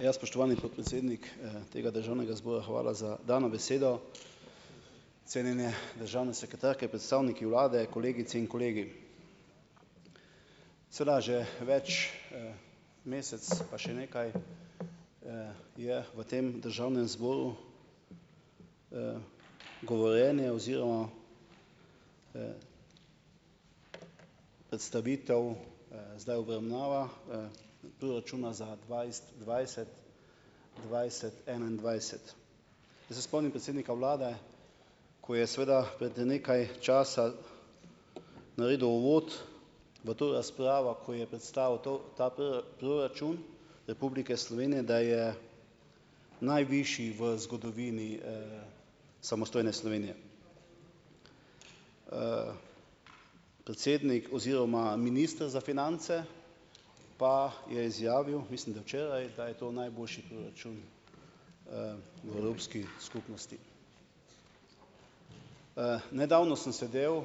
Ja, spoštovani podpredsednik, tega državnega zbora, hvala za dano besedo. Cenjene državne sekretarke, predstavniki vlade, kolegice in kolegi! Seveda, že več, mesec pa še nekaj, je v tem državnem zboru, govorjenje oziroma, predstavitev, zdaj obravnava, proračuna za dvajset, dvajset, dvajset, enaindvajset. Zdaj se spomnim predsednika vlade, ko je seveda pred nekaj časa naredil uvod v to razpravo, ko je predstavil to ta proračun Republike Slovenije, da je najvišji v zgodovini samostojne Slovenije. predsednik oziroma minister za finance pa je izjavil, mislim, da včeraj, da je to najboljši proračun, v Evropski skupnosti. nedavno sem sedel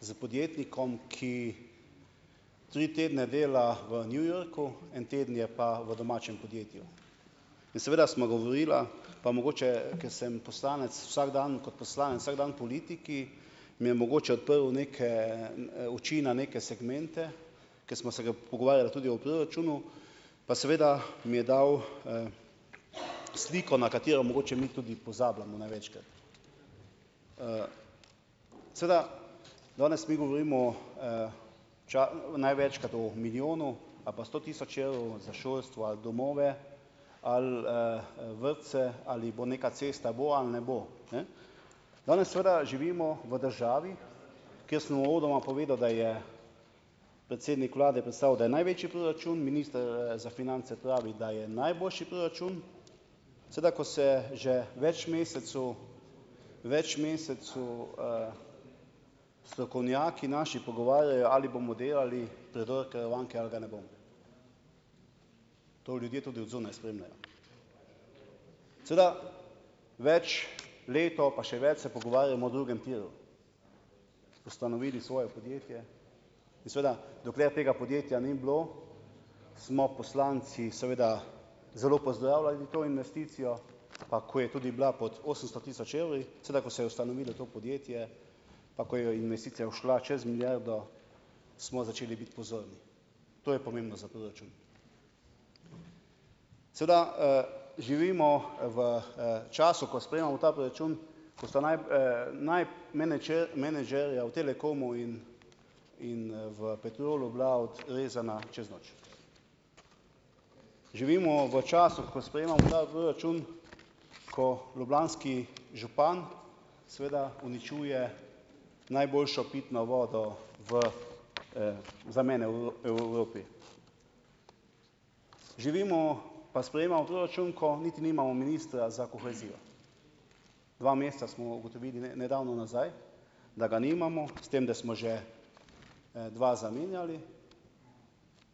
s podjetnikom, ki tri tedne dela v New Yorku, en teden je pa v domačem podjetju. In seveda sva govorila, pa mogoče ker sem poslanec vsak dan, kot poslanec vsak dan politiki, mi je mogoče odprl neke oči na neke segmente, ko sva se pogovarjala tudi o proračunu, pa seveda mi je dal, sliko, na katero mogoče mi tudi pozabljamo največkrat. Seveda danes mi govorimo, največkrat o milijonu pa sto tisoč evrov za šolstvo domove vrtce, ali bo neka cesta bo ne bo. Danes seveda živimo v državi, kjer sem uvodoma povedal, da je predsednik vlade predstavil, da je največji proračun, minister, za finance pravi, da je najboljši proračun. Seveda ko se že več mesecev, več mesecev, strokovnjaki naši pogovarjajo, ali bomo delali predor Karavanke ga ne bomo. To ljudje tudi od zunaj spremljajo. Seveda več, leto pa še več se pogovarjamo o drugem tiru, ustanovili svoje podjetje, in seveda dokler tega podjetja ni bilo, smo poslanci seveda zelo pozdravljali to investicijo, pa ko je tudi bila pod osemsto tisoč evri, sedaj ko se je ustanovilo to podjetje, pa ko je jo investicija šla čez milijardo, smo začeli pozorni. To je pomembno za proračun. Seveda, živimo v, času, ko sprejemamo ta proračun, ko so menedžerje v Telekomu in in, v Petrolu bila odrezana čez noč. Živimo v času, ko sprejemamo ta proračun, ko ljubljanski župan seveda uničuje najboljšo pitno vodo v, za mene v Evropi. Živimo pa sprejemamo proračun, ko niti nimamo ministra za kohezijo. Dva meseca smo ugotovili nedavno nazaj, da ga nimamo, s tem, da smo že, dva zamenjali.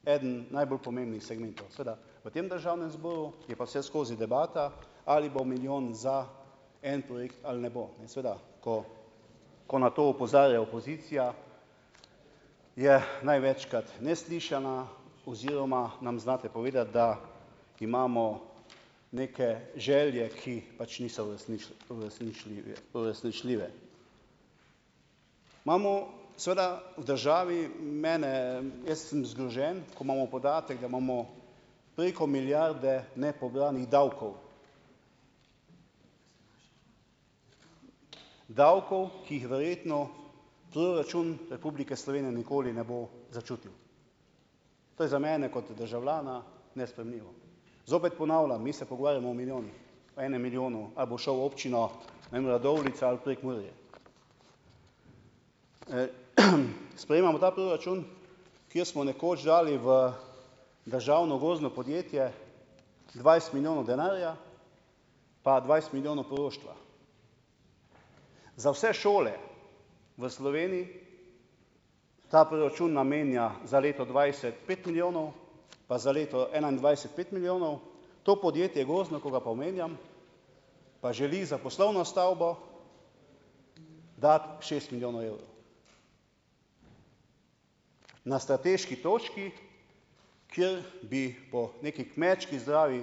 Eden najbolj pomembnih segmentov. Seveda v tem državnem zboru je pa vseskozi debata, ali bo milijon za en projekt ne bo. In seveda, ko ko na to opozarja opozicija, je največkrat neslišana oziroma nam znate povedati, da imamo neke želje, ki pač niso uresničljive, uresničljive. Imamo seveda v državi, mene, jaz sem zgrožen, ko imamo podatek, da imamo preko milijarde nepobranih davkov, davkov, ki jih verjetno proračun Republike Slovenije nikoli ne bo začutil. To je za mene kot državljana nesprejemljivo. Zopet ponavljam, mi se pogovarjamo o milijonih, o enem milijonu, ali bo šel občino, ne vem, Radovljica ali Prekmurje. Sprejemamo ta proračun, kjer smo nekoč dali v državno gozdno podjetje dvajset milijonov denarja, pa dvajset milijonov poroštva. Za vse šole v Sloveniji ta proračun namenja za leto dvajset pet milijonov, pa za leto enaindvajset pet milijonov. To podjetje, gozdno, ko ga pa omenjam, pa želi za poslovno stavbo dati šest milijonov evrov. Na strateški točki, kjer bi po neki kmečki logiki zdravi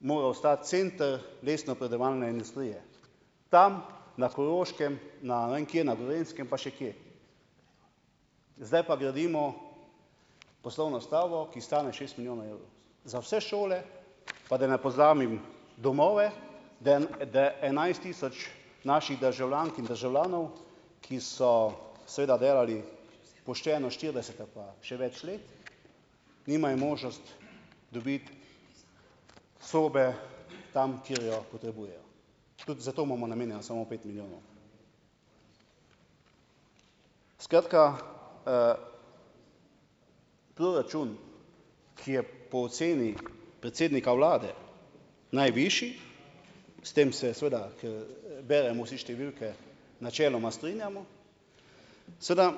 moral stati center lesnopredelovalne industrije. Tam, na Koroškem, na ne vem kje, na Gorenjskem, pa še kje. Zdaj pa gradimo poslovno stavbo, ki stane šest milijonov evrov. Za vse šole, pa da ne pozabim, domove, da da enajst tisoč naših državljank in državljanov, ki so seveda delali pošteno štirideset ali pa še več let, nimajo možnost dobiti sobe tam, kjer jo potrebujejo. Tudi za to imamo namenjeno samo pet milijonov. Skratka, proračun, ki je po oceni predsednika vlade najvišji, s tem se seveda, ker, beremo vsi številke, načeloma strinjamo, seveda,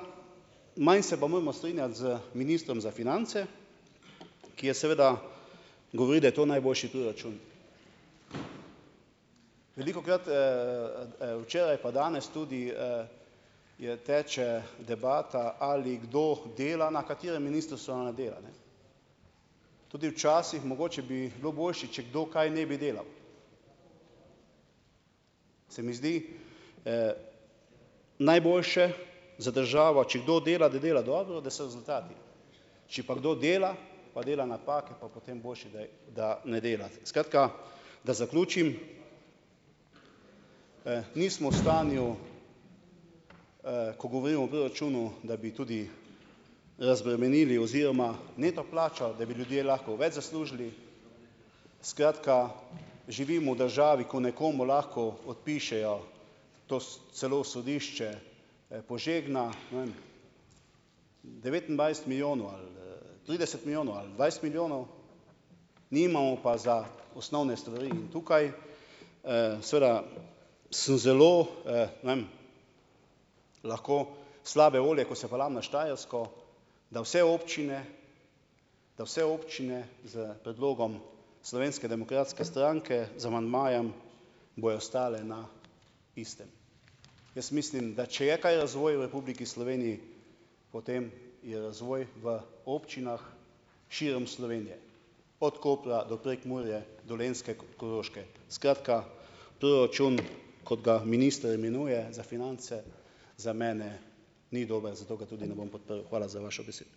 manj pa se moramo strinjati z ministrom za finance, ki je seveda, govori, da je to najboljši proračun. Velikokrat, včeraj, pa danes tudi, je teče debata, ali kdo dela na katerem ministrstvu ne dela, Tudi včasih, mogoče bi bilo boljše, če kdo kaj ne bi delal. Se mi zdi, najboljše za državo, če kdo dela, da dela dobro, da so rezultati. Če pa kdo dela, pa dela napake, pa potem boljše, da je, da ne dela. Skratka, da zaključim, nismo v stanju, ko govorimo o proračunu, da bi tudi razbremenili oziroma, neto plača, da bi ljudje lahko več zaslužili ... Skratka, živimo v državi, ko nekomu lahko odpišejo, to celo sodišče, "požegna", ne vem, devetindvajset milijonov trideset milijonov dvajset milijonov, nimamo pa za osnovne stvari in tukaj, seveda sem zelo, ne vem, lahko slabe volje, ko se peljem na Štajersko, da vse občine da vse občine s predlogom Slovenske demokratske stranke, z amandmajem, bojo stale na istem. Jaz mislim, da če je kaj razvoj v Republiki Sloveniji, potem je razvoj v občinah širom Slovenije, od Kopra do Prekmurje, Dolenjske, Koroške. Skratka proračun, kot ga minister imenuje, za finance, za mene ni dober, zato ga tudi ne bom podprl. Hvala za vašo besedo.